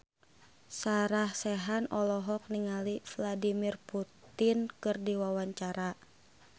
Sarah Sechan olohok ningali Vladimir Putin keur diwawancara